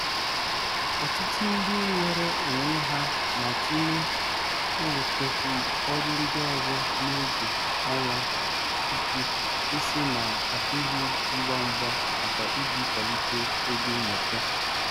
Ọtụtụ ndị nweere onwe ha na-atụle iwetekwu ọrụ ndị ọzọ n'oge ọnwa ụtụ isi na-adịghị ngwa ngwa maka iji kwalite ego mwete.